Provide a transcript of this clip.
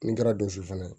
Min kɛra donso fana ye